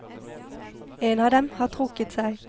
En av dem har trukket seg.